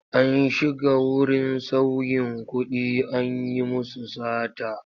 An shiga wurin sauyin kuɗi an yi musu sata.